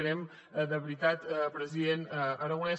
creiem de veritat president aragonès